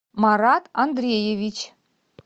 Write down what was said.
марат андреевич